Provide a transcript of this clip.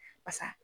Basa